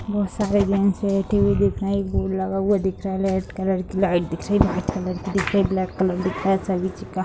बहोत सारे जेंट्स बैठे हुए दिख रहे हैं एक बोर्ड लगा हुआ दिख रहा है रेड कलर की लाइट दिख रही है व्हाइट कलर की दिख रही है ब्लैक कलर दिख रहा है सभी चीज का --